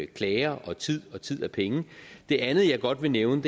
klager og tid og tid er penge det andet jeg godt vil nævne